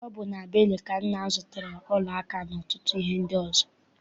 Ọ bụ na Benue ka nna m zụtara ọla aka n'ọtụtụ ihe ndị ọzọ.